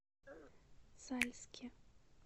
сальске